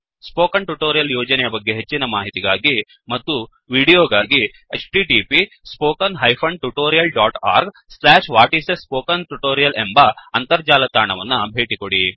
spoken tutorial ಯೋಜನೆಯ ಬಗ್ಗೆ ಹೆಚ್ಚಿನ ಮಾಹಿತಿಗಾಗಿ ಮತ್ತು ದೃಶ್ಯಾವಳಿಗಳಿಗಾಗಿ 1 ಎಂಬ ಅಂತರ್ಜಾಲ ತಾಣವನ್ನು ಭೇಟಿಕೊಡಿ